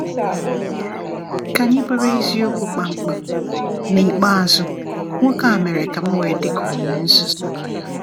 Ka anyị bụrụ eziokwu kpamkpam, n’ikpeazụ nwoke a mere ka m wee dị ka onye nzuzu.